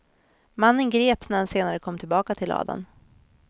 Mannen greps när han senare kom tillbaka till ladan.